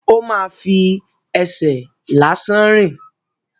Ó ma fi ẹsẹ̀ lásán rìn.